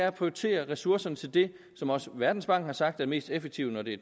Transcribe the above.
at prioritere ressourcerne til det som også verdensbanken har sagt er mest effektivt når det